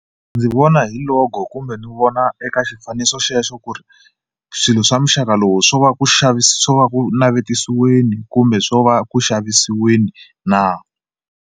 Ndzi vona hi logo kumbe ni vona eka xifaniso xexo ku ri swilo swa muxaka lowu swo va ku swo va ku navetisiweni kumbe swo va ku xavisiweni na.